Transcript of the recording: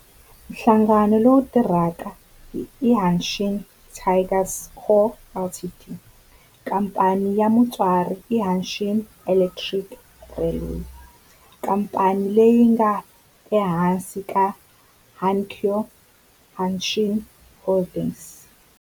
Nhlangano lowu tirhaka i Hanshin Tigers Co., Ltd. Khamphani ya mutswari i Hanshin Electric Railway, khamphani leyi nga ehansi ka Hankyu Hanshin Holdings.